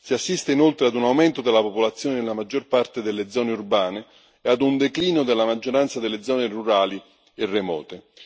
Si assiste inoltre ad un aumento della popolazione nella maggior parte delle zone urbane e a un declino della maggioranza delle zone rurali e remote.